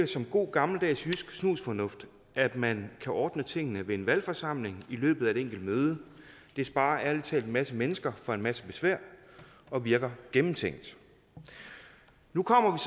som god gammeldags jysk snusfornuft at man kan ordne tingene ved en valgforsamling i løbet af et enkelt møde det sparer ærlig talt en masse mennesker for en masse besvær og virker gennemtænkt nu kommer